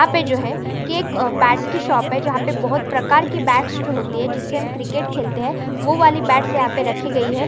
यहाँ पे जो है की एक बॅट की शॉप है जहा पे बहुत प्रकार के बॅट्स जो होते है जिस से हम क्रिकेट खेलते है वो वाली बॅट्स यहाँ पे रखी गई है।